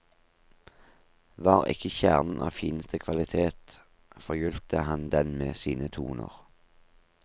Var ikke kjernen av fineste kvalitet, forgylte han den med sine toner.